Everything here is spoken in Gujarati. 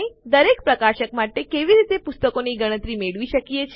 આપણે દરેક પ્રકાશક માટે કેવી રીતે પુસ્તકોની ગણતરી મેળવી શકીએ